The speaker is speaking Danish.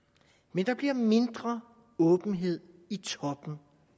men der bliver mindre åbenhed i toppen